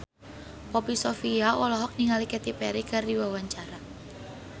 Poppy Sovia olohok ningali Katy Perry keur diwawancara